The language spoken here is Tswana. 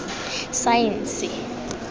saense